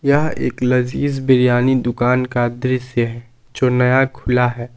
यह एक लज़ीज़ बिरयानी दुकान का दृश्य है जो नया खुला है।